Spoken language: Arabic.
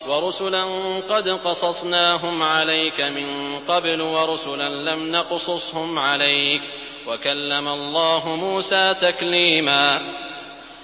وَرُسُلًا قَدْ قَصَصْنَاهُمْ عَلَيْكَ مِن قَبْلُ وَرُسُلًا لَّمْ نَقْصُصْهُمْ عَلَيْكَ ۚ وَكَلَّمَ اللَّهُ مُوسَىٰ تَكْلِيمًا